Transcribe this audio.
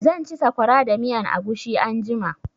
Zan ci sakwara da miyan agushi anjima.